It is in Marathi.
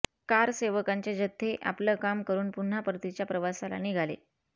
कारसेवकांचे जथ्ये आपलं काम करून पुन्हा परतीच्या प्रवासाला निघाले